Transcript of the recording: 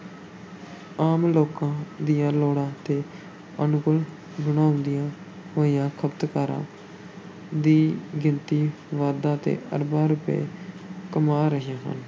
ਆਮ ਲੋਕਾਂ ਦੀਆਂ ਲੋੜਾਂ ਦੇ ਅਨੁਕੂਲ ਬਣਾਉਂਦੀਆਂ ਹੋਈਆਂ ਖ਼ਪਤਕਾਰਾਂ ਦੀ ਗਿਣਤੀ ਵਾਧਾ ਤੇ ਅਰਬਾਂ ਰੁਪਏ ਕਮਾ ਰਹੀਆਂ ਹਨ।